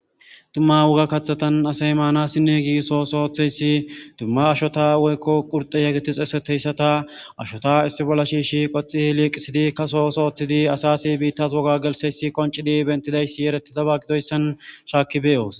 Dumma woga kathatan asay maana sinne giisoo sooththeyssi dumma ashota woykko qurxe yaggetixeseteyssata ashota issi bolla shiishi qoxi liiqisidi kaso sooththidi asasi biittas woga gelseyssi qoncidi bentidayssi yereti daba gidoyssan shaakki beyoos